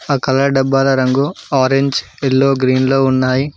ఆ కలర్ డబ్బాల రంగు ఆరేంజ్ ఎల్లో గ్రీన్ లో ఉన్నాయి.